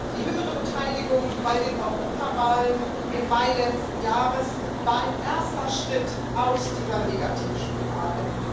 Die höhere Beteiligung bei der Europawahl im Mai letzten Jahres war ein erster Schritt aus dieser Negativspirale.